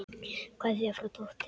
Kveðja frá dóttur.